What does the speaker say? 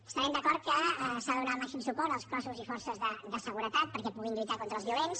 estarem d’acord que s’ha de donar el màxim suport als cossos i forces de seguretat perquè puguin lluitar contra els violents